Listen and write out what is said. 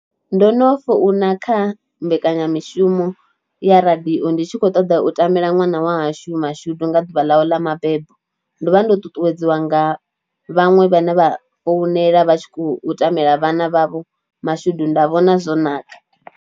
Ndo no founa kha mbekanyamishumo ya radio ndi tshi kho ṱoḓa u tamela ṅwana wa hashu mashudu nga ḓuvha ḽawe ḽa mabebo, ndo vha ndo ṱuṱuwedziwa nga vhaṅwe vhane vha founela vha tshi khou tamela vhana vhavho mashudu nda vhona zwo naka.